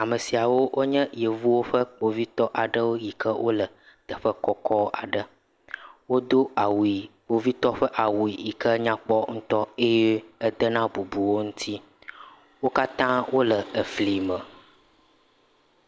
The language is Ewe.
Ame siawo wonye yevuwo ƒe kpovitɔ aɖewo yike wole teƒe kɔkɔ aɖe. Wodo awu ɣi, kpovitɔwo ƒe awu yike nyakpɔ ŋutɔ eye edena bubu wo ŋuti, wo katã wole efli me.